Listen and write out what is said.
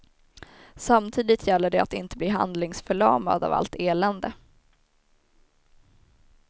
Samtidigt gäller det att inte bli handlingsförlamad av allt elände.